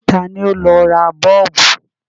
Ta ni ó lọ ra Bọ́ọ̀bù?